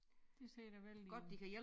Det ser da vældigt ud